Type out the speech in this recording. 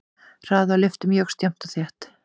Hraði á lyftum jókst jafnt og þétt.